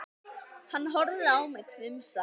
Hann horfði á mig hvumsa.